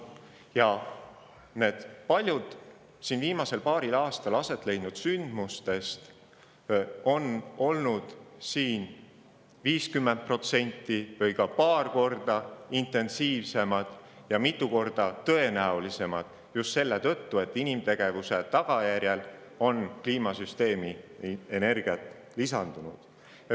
Ja paljud viimasel paaril aastal aset leidnud sündmustest on olnud ja tõenäolisemad tekkima just selle tõttu, et inimtegevuse tagajärjel on kliimasüsteemi energiat lisandunud.